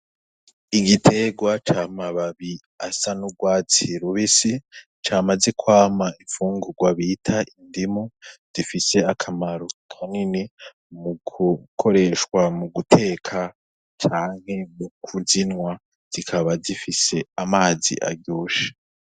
Igiterwa C 'amababi asa n'urwatsi rubisi camaze kwama imfungurwa bita indimu, zifise akamaro kanini mu gukoreshwa mu guteka canke kuzinywa zikaba zifise amazi aryoshe.